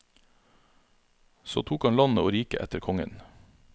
Så tok han landet og riket etter kongen.